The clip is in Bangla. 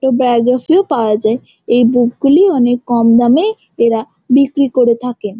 এই বাওগ্রাফিও পাওয়া যায়। এই বুক গুলি অনকে কম দামে এরা বিক্রি করে থাকেন।